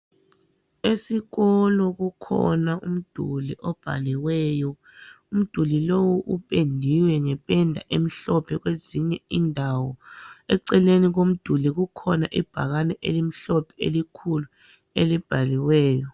Esikolo kukhona umduli obhaliweyo, umduli lowu upendiwe ngependa emhlophe kwezinye indawo. Eceleni komduli kukhona ibhakane elimhlophe, elikhulu elibhaliweyo.